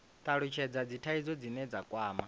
talutshhedza dzithaidzo dzine dza kwama